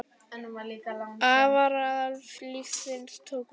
Alvara lífsins tók við.